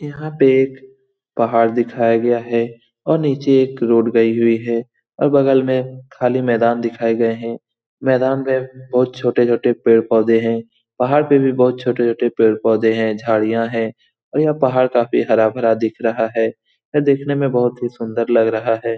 यहाँ पे एक पहाड़ दिखाया गया है और नीचे एक रोड गई हुई है और बगल में खाली मैदान दिखाए गए है मैदान में बहुत छोटे छोटे पेड़ पौधे है पहाड़ पे भी बहुत छोटे-छोटे पेड़ पौधे है झाड़ियाँ है और पहाड़ यहाँ काफ़ी हरा भरा दिख रहा है और यह दिखने में बहुत ही सुन्दर लग रहा है ।